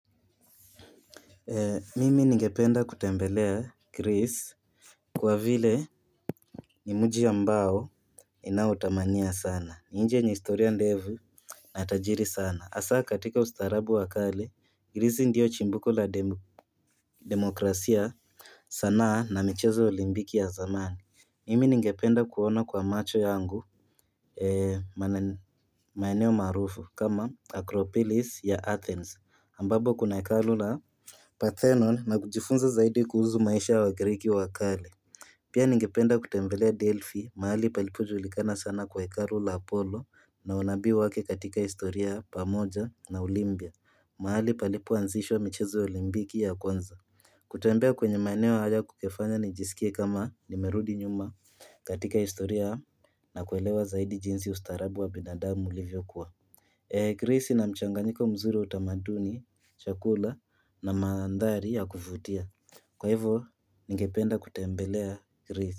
Mimi ningependa kutembelea Greece Kwa vile ni muji ambao inaotamania sana ni nchi yenye historia ndefu na tajiri sana asaa katika ustaarabu wa kale Greece ndiyo chimbuko la demokrasia sanaa na michezo olimpiki ya zamani Mimi ningependa kuona kwa macho yangu maeneo marufu kama Acropolis ya Athens ambapo kuna hekalu la Parthenon na kujifunza zaidi kuhusu maisha wa griki wakale Pia ningependa kutembelea Delphi mahali palipo julikana sana kwa hikaru la Apollo na unabii wake katika historia pamoja na olimpia mahali palipo anzishwa michezo olimpiki ya kwanza kutembea kwenye maeneo haya kungefanya nijisikie kama nimerudi nyuma katika historia na kuelewa zaidi jinsi ustarabu wa binadamu ulivyokuwa Greece ina mchanganyiko mzuri wa utamaduni, chakula na mandhari ya kuvutia Kwa hivyo ningependa kutembelea Gracie.